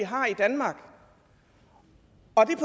har i danmark